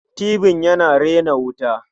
Tibin yana rena wuta.